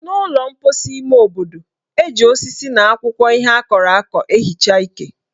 N' ụlọ mposi ime obodo, eji osisi na akwụkwọ ihe akọrọ akọ ehicha ike.